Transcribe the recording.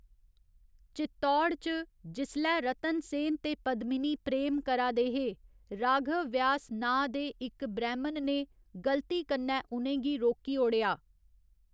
चित्तौड़ च, जिसलै रतन सेन ते पद्मिनी प्रेम करा दे हे, राघव व्यास नांऽ दे इक ब्रैह्मन ने गल्ती कन्नै उ'नें गी रोकी ओड़ेआ।